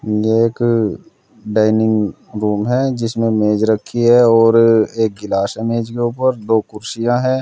एक dining room है जिसमें मेज़ रखी है और एक गिलास है मेज के ऊपर दो कुर्सियां हैं।